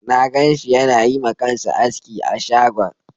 Na ganshi yana yi ma kansa aski a shagon